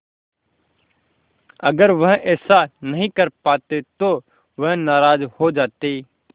अगर वह ऐसा नहीं कर पाते तो वह नाराज़ हो जाते